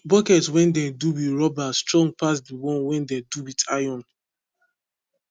bucket wen dem do wit rubber strong pass de one wen dem do wit iron